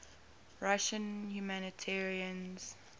russian humanitarians